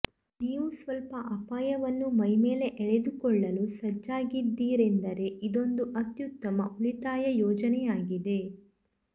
ನೀವು ಸ್ವಲ್ಪ ಅಪಾಯವನ್ನು ಮೈಮೇಲೆ ಎಳೆದುಕೊಳ್ಳಲು ಸಜ್ಜಾಗಿದ್ದೀರೆಂದರೆ ಇದೊಂದು ಅತ್ಯುತ್ತಮ ಉಳಿತಾಯ ಯೋಜನೆಯಾಗಿದೆ